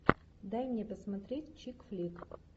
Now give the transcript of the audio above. дай мне посмотреть чик флик